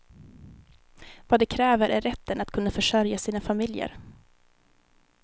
Vad de kräver är rätten att kunna försörja sina familjer.